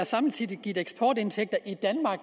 samtidig har givet eksportindtægter i danmark